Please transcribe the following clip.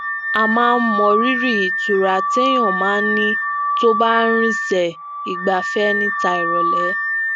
a máa ń mọríri ìtura téèyàn máa ń ní tó bá ń rinsẹ igbafẹ níta nirọlẹ